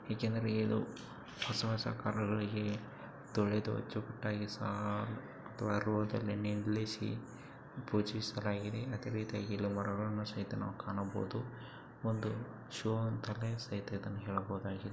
ಯಾಕೆಂದ್ರೆ ಹೊಸ ಹೊಸ ಕಾರ್ ಗಳಿಗೆ ತೊಳೆದ ಜುಟ್ಟಾಗಿ ಸಹ ತರುವ ನಿಲ್ಲಿಸಿ ಪೂಜಿಸಲಾಗಿದೆ ಅದರೀತಿ ಇಲ್ಲಿ ಮರಗಳನ್ನು ಸಹಿತನು ಕಾಣಬಹುದು ಒಂದು ಶೋ ಅಂತಲೇ ಸಹಿತ ಹೇಳಬಹುದಾಗಿದೆ.